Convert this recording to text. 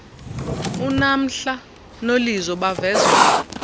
unamhla nolizo bavezwa